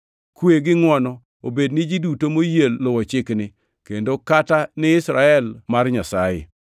Kwe gi ngʼwono obed ni ji duto moyie luwo chikni, kendo kata ni Israel mar Nyasaye.